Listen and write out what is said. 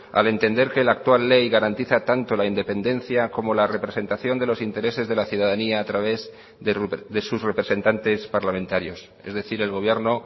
al entender que la actual ley garantiza tanto la independencia como la representación de los intereses de la ciudadanía a través de sus representantes parlamentarios es decir el gobierno